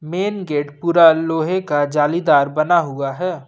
Main gate पूरा लोहे का जालीदार बना हुआ है।